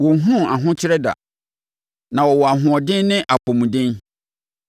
Wɔnhunuu ahokyere da; na wɔwɔ ahoɔden ne apɔmuden.